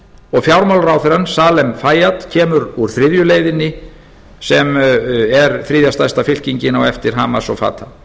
og fjármálaráðherrann salem fara kemur úr þriðju leiðinni sem er þriðja stærsta fylkingin á eftir hamas og fatah þannig